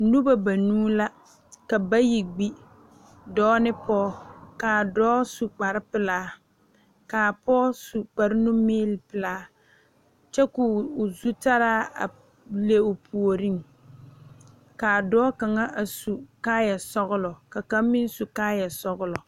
Noba banuu la ka bayi gbi dɔɔ ne Pɔge kaa dɔɔ su kpar pelaa kaa Pɔge su kpar numeele pelaa kyɛ ka o zutaara a le o puoriŋ kaa dɔɔ kaŋa a su kaayɛ sɔgelɔ ka kaŋ meŋ su kaayɛ sɔgelɔ